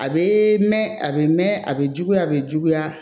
A bɛ mɛn a bɛ mɛn a bɛ juguya a bɛ juguya